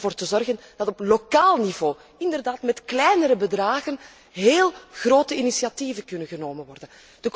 Om ervoor te zorgen dat er op lokaal niveau, inderdaad met kleinere bedragen, heel grote initiatieven genomen kunnen worden.